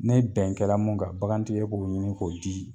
Ne bɛn kɛ la min kan, bagantigi, e bɛ o ɲini k'o di.